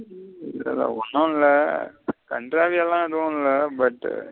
ம் இதுல ஒன்னு இல்ல கன்ட்ரவில எதுவுல்ல but.